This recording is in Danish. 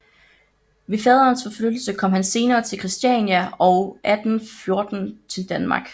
Ved faderens forflyttelse kom han senere til Christiania og 1814 til Danmark